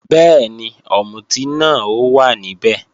Bẹ́ẹ̀ni, ọ̀mùtí náà ó wà níbẹ̀